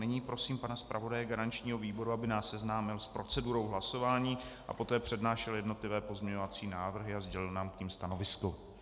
Nyní prosím pana zpravodaje garančního výboru, aby nás seznámil s procedurou hlasování a poté přednášel jednotlivé pozměňovací návrhy a sdělil nám k nim stanovisko.